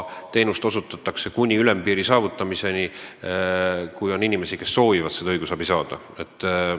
Teenust osutatakse kuni ülempiiri saavutamiseni, kui on inimesi, kes soovivad õigusabi saada.